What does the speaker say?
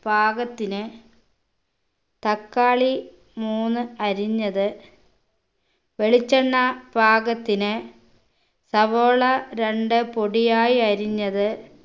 പാകത്തിന് തക്കാളി മൂന്ന് അരിഞ്ഞത് വെളിച്ചെണ്ണ പാകത്തിന് സവോള രണ്ട് പൊടിയായി അരിഞ്ഞത്